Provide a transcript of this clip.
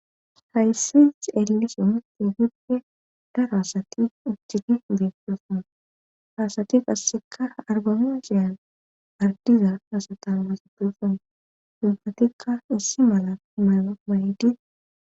Hayssi xeellizay ogeppedaro asati asati ha asati qassekka arbamincce kawotaa hessatikka issi mala mayo mayidi